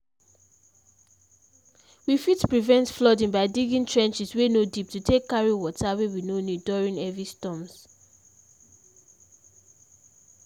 we fit prevent flooding by digging trenches wey no deep to take carry water wey we no need during heavy storms